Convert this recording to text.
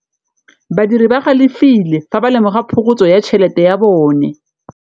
Badiri ba galefile fa ba lemoga phokotsô ya tšhelête ya bone.